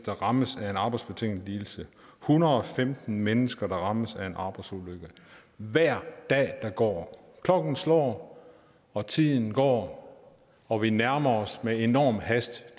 rammes af en arbejdsbetinget lidelse hundrede og femten mennesker der rammes af en arbejdsulykke hver dag der går klokken slår og tiden går og vi nærmer os med enorm hast